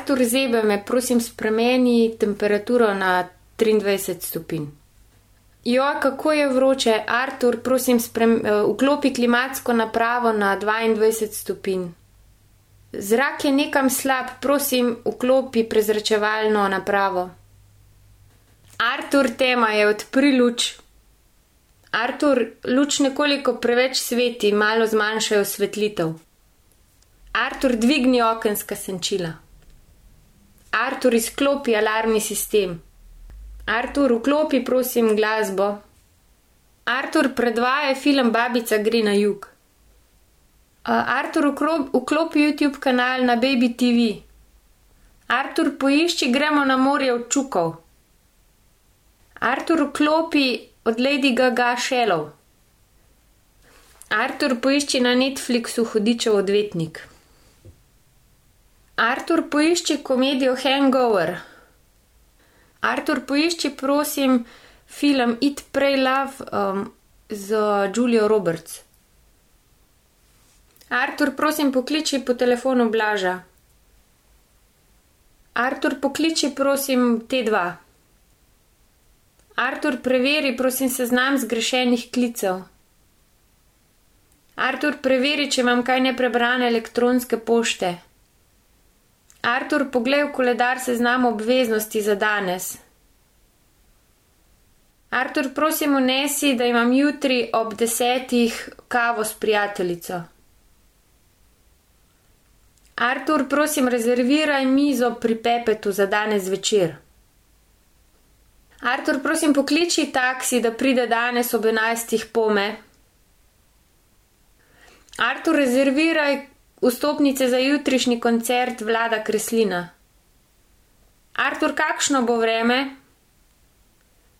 Artur, zebe me. Prosim, spremeni temperaturo na triindvajset stopinj. kako je vroče. Artur, prosim vklopi klimatsko napravo na dvaindvajset stopinj. Zrak je nekam slab. Prosim, vklopi prezračevalno napravo. Artur, tema je. Odpri luč. Artur, luč nekoliko preveč sveti. Malo zmanjšaj osvetlitev. Artur, dvigni okenska senčila. Artur, izklopi alarmni sistem. Artur, vklopi, prosim, glasbo. Artur, predvajaj film Babica gre na jug. Artur, vklopi Youtube kanal na Baby TV. Artur, poišči Gremo na morje od Čukov. Artur, vklopi od Lady Gaga Shallow. Artur, poišči na Netflixu Hudičev odvetnik. Artur, poišči komedijo Hangover. Artur, poišči, prosim, film Eat, Pray, Love, z Julio Roberts. Artur, prosim pokliči po telefonu Blaža. Artur, pokliči prosim Tdva. Artur, preveri prosim seznam zgrešenih klicev. Artur, preveri, če imam kaj neprebrane elektronske pošte. Artur, poglej v koledar seznam obveznosti za danes. Artur, prosim vnesi, da imam jutri ob desetih kavo s prijateljico. Artur, prosim rezerviraj mizo pri Pepetu za danes zvečer. Artur, prosim pokliči taksi, da pride danes ob enajstih pome. Artur, rezerviraj vstopnice za jutrišnji koncert Vlada Kreslina. Artur, kakšno bo vreme?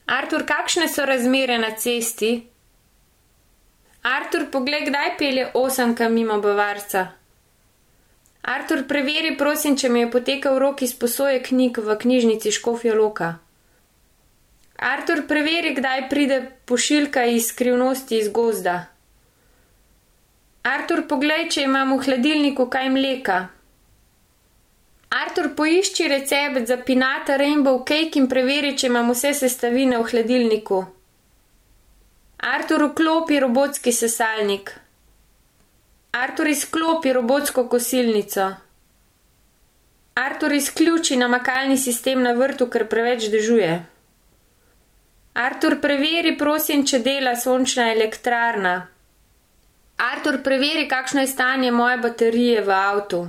Artur, kakšne so razmere na cesti? Artur, poglej, kdaj pelje osemka mimo Bavarca. Artur, preveri, prosim, če mi je potekel rok izposoje knjig v Knjižnici Škofja Loka. Artur, preveri, kdaj pride pošiljka iz Skrivnosti iz gozda. Artur, poglej, če imam v hladilniku kaj mleka. Artur, poišči recept za pinata rainbow cake in preveri, če imam vse sestavine v hladilniku. Artur, vklopi robotski sesalnik. Artur, izklopi robotsko kosilnico. Artur, izključi namakalni sistem na vrtu, ker preveč dežuje. Artur, preveri, prosim, če dela sončna elektrarna. Artur, preveri, kakšno je stanje moje baterije v avtu.